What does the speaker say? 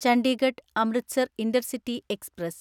Chandigarh Amritsar intercity express